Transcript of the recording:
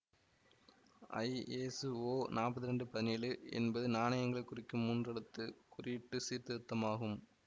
ISO நாற்பத்து ரெண்டு பதினேழு என்பது நாணயங்களை குறிக்கும் மூன்றெழுத்து குறியீட்டுச் சீர்திருத்தமாகும்